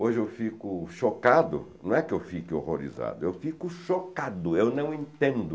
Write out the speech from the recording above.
Hoje eu fico chocado, não é que eu fique horrorizado, eu fico chocado, eu não entendo.